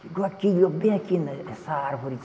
Chegou aqui, viu bem aqui né, essa árvore.